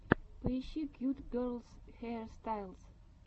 поищи кьют герлс хейрстайлс